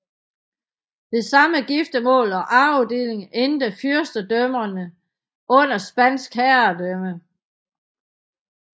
Ved senere giftermål og arvedelinger endte fyrstedømmerne under spansk herredømme